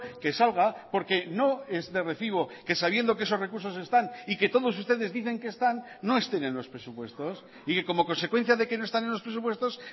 que salga porque no es de recibo que sabiendo que esos recursos están y que todos ustedes dicen que están no estén en los presupuestos y que como consecuencia de que no están en los presupuestos